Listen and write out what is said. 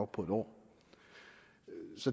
på en år